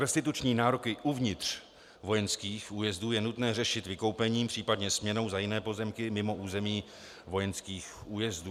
Restituční nároky uvnitř vojenských újezdů je nutné řešit vykoupením, případně směnou za jiné pozemky mimo území vojenských újezdů.